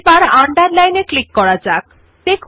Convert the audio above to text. underline আইকনের উপর click করলে লেখাটি নিম্নরেখা হবে